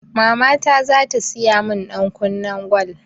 Mama zata siya min ɗankunnen gwal